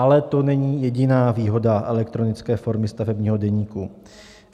Ale to není jediná výhoda elektronické formy stavebního deníku.